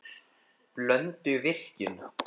Blönduvirkjun